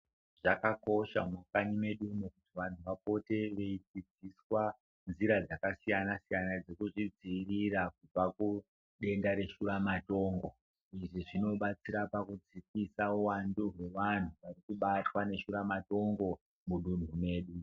Zvakakosha mukunyimo medumo kuti vantu vapote veidzidziswa nzira dzakasiyana siyana dzekuzvidziirira kubva kudenda reshura matongo izvizvinobatsira pakudzikisa uwandu rweanhu arikubata ngeshura matongo mudunhu medu.